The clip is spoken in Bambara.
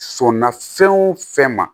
Sɔnna fɛn o fɛn ma